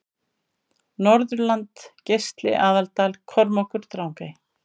Norðurland Geisli Aðaldal Kormákur Drangey